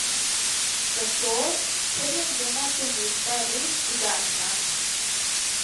Zato, ker je njena ponudba res drugačna!